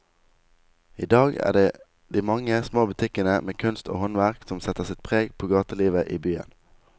I dag er det de mange små butikkene med kunst og håndverk som setter sitt preg på gatelivet i byen.